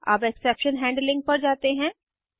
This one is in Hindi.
अब एक्सेप्शन हैंडलिंग पर जाते हैं